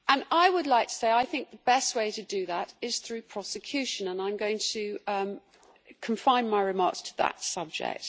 I would like to say that best way to do that is through prosecution, and I am going to do confine my remarks to that subject.